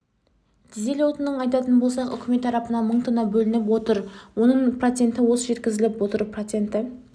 дизель отынын айтатын болсақ үкімет тарапынан мың тонна бөлініп отыр оның проценті осы жеткізіліп отыр проценті